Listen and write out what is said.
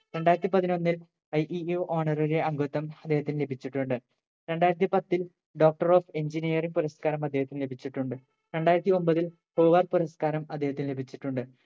രണ്ടായിരത്തി പതിനൊന്നിൽ IEEE Honorary അംഗത്വം അദ്ദേഹത്തിന് ലഭിച്ചിട്ടുണ്ട് രണ്ടായിരത്തി പത്തിൽ Doctor of engineering പുരസ്‌കാരം അദ്ദേഹത്തിന് ലഭിച്ചിട്ടുണ്ട് രണ്ടായിരത്തി ഒമ്പതിൽ Hoover പുരസ്ക്കാരം അദ്ദേഹത്തിന് ലഭിച്ചിട്ടുണ്ട്